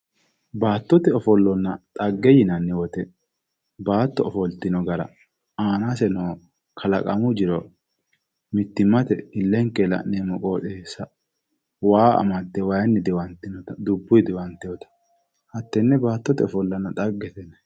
Baattote ofollonna dhagge yinnanni woyte baatto ofoltino gara aanase no kalaqamu jiro mittimmate ilenkenni la'neemmo qoxxeessa waa amade waayinni diwantewotta dubbu diwantinotta hatene baattote ofollanna dhagge yineemmo.